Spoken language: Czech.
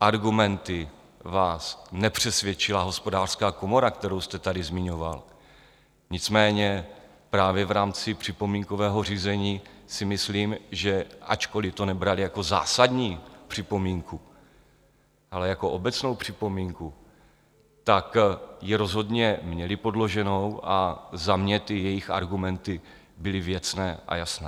argumenty vás nepřesvědčila Hospodářská komora, kterou jste tady zmiňoval, nicméně právě v rámci připomínkového řízení si myslím, že ačkoliv to nebrali jako zásadní připomínku, ale jako obecnou připomínku, tak ji rozhodně měli podloženou a za mě ty jejich argumenty byly věcné a jasné.